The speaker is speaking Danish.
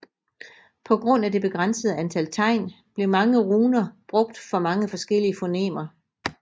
På grund af det begrænsede antal tegn blev mange runer brugt for mange forskellige fonemer